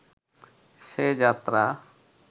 সে যাত্রা